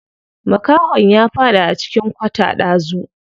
Makahon ya faɗi a cikin kwata ɗazu.